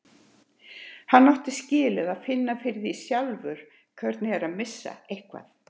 Hann átti skilið að finna fyrir því sjálfur hvernig er að missa eitthvað.